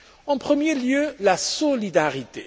En premier lieu, la solidarité.